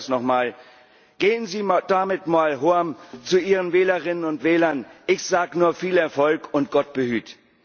Ich wiederhole es nochmal Gehen Sie damit mal zu Ihren Wählerinnen und Wählern ich sage nur Viel Erfolg und Gott behüte.